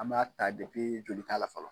An ma ta joli la fɔlɔ